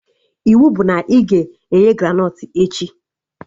Iwu bụ na ị ga-eghe granọt echi!